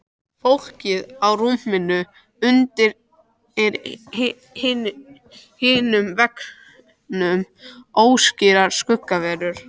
Fólkið á rúmunum undir hinum veggnum óskýrar skuggaverur.